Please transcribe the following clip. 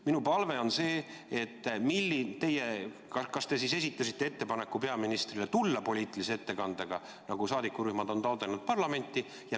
Minu küsimus on: kas te esitasite peaministrile ettepaneku tulla poliitilise ettekandega parlamenti, nagu saadikurühmad on taotlenud?